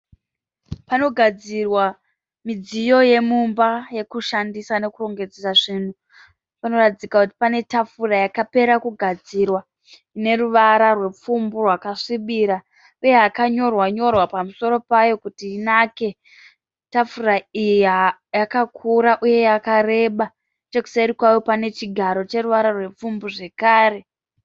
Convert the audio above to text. Panogadzirwa midziyo yomumba yekushandisa nekurongedzera zvinhu. Panoratidza kuti pane tafura yakapera kugadzira ineruvara rwepfumbu yakasvibira uye yakanyorwa nyorwa pamusoro payo kuti inake. Tafura iyi yakakura uye yakareba. Nechekuseri kwayo pane chigaro cheruvara rwepfumbu zvakare.